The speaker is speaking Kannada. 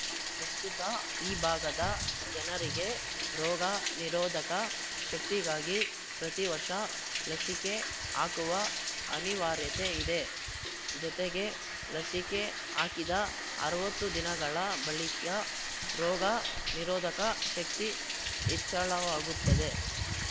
ಪ್ರಸ್ತುತ ಈ ಭಾಗದ ಜನರಿಗೆ ರೋಗ ನಿರೋಧಕ ಶಕ್ತಿಗಾಗಿ ಪ್ರತಿ ವರ್ಷ ಲಸಿಕೆ ಹಾಕುವ ಅನಿವಾರ್ಯತೆ ಇದೆ ಜತೆಗೆ ಲಸಿಕೆ ಹಾಕಿದ ಅರವತ್ತು ದಿನಗಳ ಬಳಿಕ್ಯ ರೋಗ ನಿರೋಧಕ ಶಕ್ತಿ ಹೆಚ್ಚಳವಾಗುತ್ತದೆ